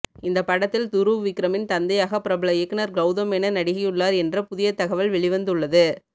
இந்தப் படத்தில் துருவ் விக்ரமின் தந்தையாக பிரபல இயக்குனர் கவுதம் மேனன் நடிகையுள்ளார் என்ற புதிய தகவல் வெளிவந்து உள்ளது